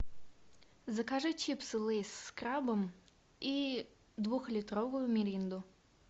закажи чипсы лейс с крабом и двухлитровую миринду